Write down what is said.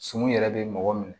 Sunu yɛrɛ bɛ mɔgɔ minɛ